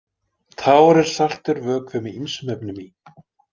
Tár eru saltur vökvi með ýmsum efnum í.